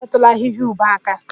Unu emetụla ahịhịa ube aka!